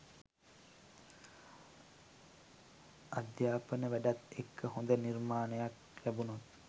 අධ්‍යාපන වැඩත් එක්ක හොඳ නිර්මාණයක් ලැබුණොත්